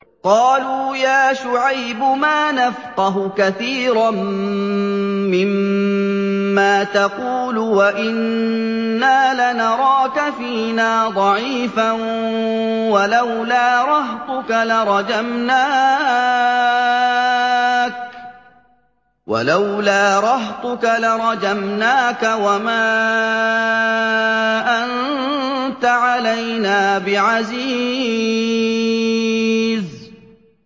قَالُوا يَا شُعَيْبُ مَا نَفْقَهُ كَثِيرًا مِّمَّا تَقُولُ وَإِنَّا لَنَرَاكَ فِينَا ضَعِيفًا ۖ وَلَوْلَا رَهْطُكَ لَرَجَمْنَاكَ ۖ وَمَا أَنتَ عَلَيْنَا بِعَزِيزٍ